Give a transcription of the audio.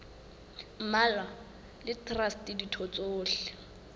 mmalwa le traste ditho tsohle